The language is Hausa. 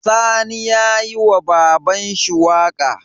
Sani yayi wa babanshi waƙa